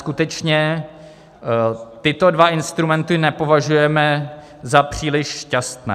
Skutečně tyto dva instrumenty nepovažujeme za příliš šťastné.